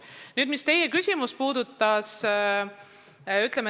Nüüd teie küsimuse juurde.